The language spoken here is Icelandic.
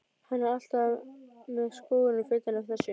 Hann er alltaf með skúrinn fullan af þessu.